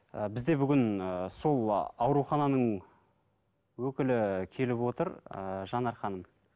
і бізде бүгін ііі сол аурухананың өкілі келіп отыр ііі жанар ханым